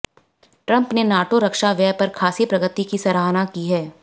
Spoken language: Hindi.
ट्रंप ने नाटो रक्षा व्यय पर खासी प्रगति की सराहना की